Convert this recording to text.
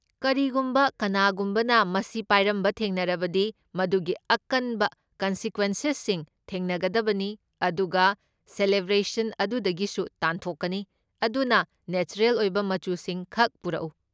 ꯀꯔꯤꯒꯨꯝꯕ ꯀꯅꯥꯒꯨꯝꯕꯅ ꯃꯁꯤ ꯄꯥꯏꯔꯝꯕ ꯊꯦꯡꯅꯔꯕꯗꯤ, ꯃꯗꯨꯒꯤ ꯑꯀꯟꯕ ꯀꯣꯟꯁꯤꯀ꯭ꯋꯦꯟꯁꯦꯁꯁꯤꯡ ꯊꯦꯡꯅꯒꯗꯕꯅꯤ ꯑꯗꯨꯒ ꯁꯦꯂꯦꯕ꯭ꯔꯦꯁꯟ ꯑꯗꯨꯗꯒꯤꯁꯨ ꯇꯥꯟꯊꯣꯛꯀꯅꯤ ꯑꯗꯨꯅ ꯅꯦꯆꯔꯦꯜ ꯑꯣꯏꯕ ꯃꯆꯨꯁꯤꯡꯈꯛ ꯄꯨꯔꯛꯎ!